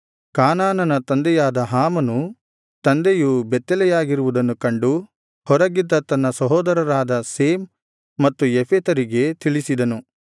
ಕಾನಾನನ ತಂದೆಯಾದ ಹಾಮನು ತಂದೆಯು ಬೆತ್ತಲೆಯಾಗಿರುವುದನ್ನು ಕಂಡು ಹೊರಗಿದ್ದ ತನ್ನ ಸಹೋದರರಾದ ಶೇಮ್ ಮತ್ತು ಯೆಫೆತರಿಗೆ ತಿಳಿಸಿದನು